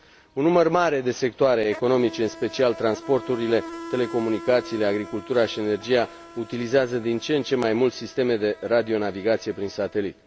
Un număr mare de sectoare economice, în special transporturile, telecomunicațiile, agricultura și energia utilizează din ce în ce mai mult sisteme de radionavigație prin satelit.